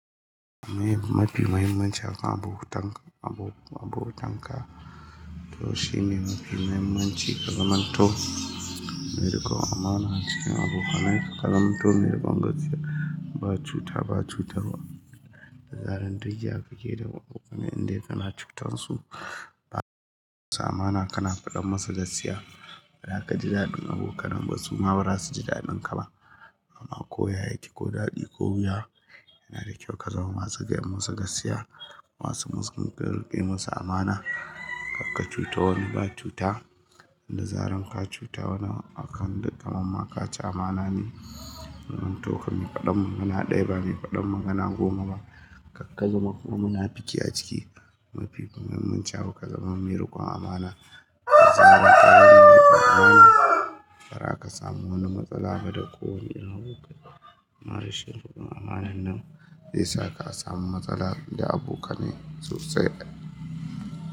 Me mafi muhimmanci a kan abota-- abota-- abotan ka, to shi ne mafi muhimmanci kazamanto, meriƙon amana ce. Abokananka kazamto mairiƙon gaskiya, ba cuta, ba cutarwa. Da zaran dukya kake da abokane indai kana cutan su. Ba ma amana kana faɗan masa gaskiya, ba za ka ji daɗin abokanin ba su ma ba za su ji daɗin ka ba. Amma ko ya yake ko daɗi ko wuya, yana da kyau ka zama masu ga masu gaskiya. Masu muskin kai, kariƙe masu amana. Karka cuta wani ba cuta. Da zaran ka cuta wani akan dukka manmaka ci amana ne. Kazamto kan mafadan magana ɗaya ba mai faɗan magana goma ba. Karka zama munafuki a ciki, mafi muhimmanci a buka zama mairiƙon amana. Da zaran ka zama mairiƙon amana, ba za ka samu wani matsala ba da kowane irin abokaiba. Ammarashin riƙon amanan nan zai sa ka samu matsala da abokanai sosai.